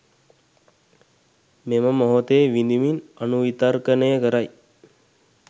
මෙම මොහොතේ විඳිමින් අනුවිතර්කනය කරයි.